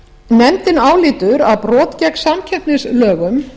nefndin álítur að brot gegn samkeppnislögum